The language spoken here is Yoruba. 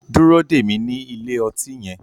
Dúró dè mí ní ilé ọtí yẹn